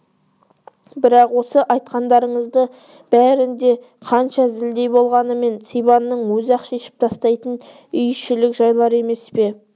бірақ осы айтқандарыңыздың бәрі де қанша зілдей болғанымен сибанның өзі-ақ шешіп тастайтын үй ішілік жайлар емес пе